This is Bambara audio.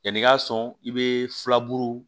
Yanni i ka sɔn i bɛ filaburu